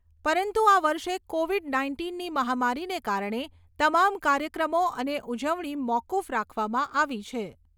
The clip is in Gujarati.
પરંતુ આ વર્ષે કોવિડ નાઇન્ટીનની મહામારીને કારણે તમામ કાર્યક્રમો અને ઉજવણી મોકૂફ રાખવામાં આવી છે.